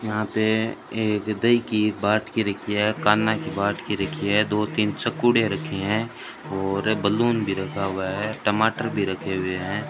यहां पे एक दही की बाट की रखी है कान्हा की बाट की रखी है दो तीन चाकूड़े रखे हैं और बलून भी रखा हुआ है टमाटर भी रखे हुए हैं।